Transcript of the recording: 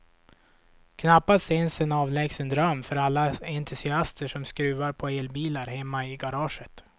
Knappast ens en avlägsen dröm för alla entusiaster som skruvar på elbilar hemma i garaget.